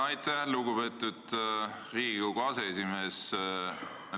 Aitäh, lugupeetud Riigikogu aseesimees!